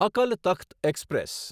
Akal Takht express